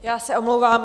Já se omlouvám.